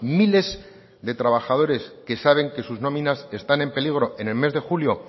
miles de trabajadores que saben que sus nóminas están en peligro en el mes de julio